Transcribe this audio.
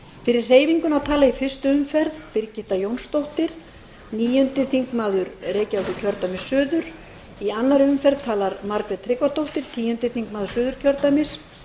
fyrir hreyfinguna tala í fyrstu umferð birgitta jónsdóttir níundi þingmaður reykjavíkurkjördæmis suður í annarri umferð talar margrét tryggvadóttir tíundi þingmaður suðurkjördæmis